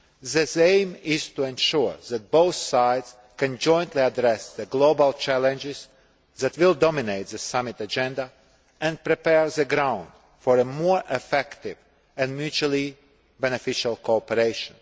This aim is to ensure that both sides can jointly address the global challenges that will dominate the summit agenda and prepare the ground for a more effective and mutually beneficial cooperation.